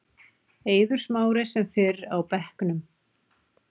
Eiður Smári sem fyrr á bekknum